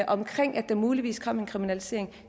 omkring at der muligvis kom en kriminalisering